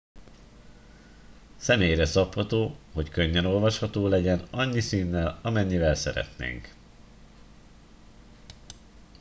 személyre szabható hogy könnyen olvasható legyen annyi színnel amennyivel szeretnénk